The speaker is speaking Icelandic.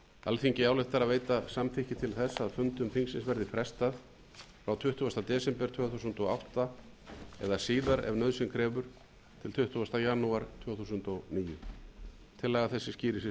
alþingi ályktar að veita samþykki til þess að fundum þingsins verði frestað frá tuttugasta desember tvö þúsund og átta eða síðar ef nauðsyn krefur til tuttugasta janúar tvö þúsund og níu tillaga þessi skýrir